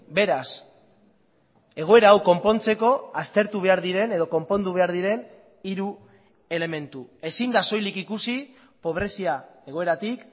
beraz egoera hau konpontzeko aztertu behar diren edo konpondu behar diren hiru elementu ezin da soilik ikusi pobrezia egoeratik